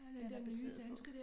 Den er baseret på